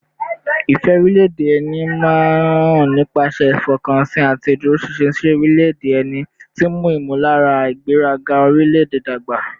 Ìfẹ́ orílẹ̀-èdè ẹni máa ń hàn nípasẹ̀ ìfọkànsìn àti ìdúróṣinṣin sí orílẹ̀-èdè ẹni, tí ń mú ìmọ̀lára ìgbéraga orílẹ̀-èdè dàgbà